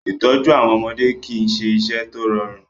Ìtọ́jú àwọn ọmọdé kì í ṣe iṣẹ́ tó rọrùn.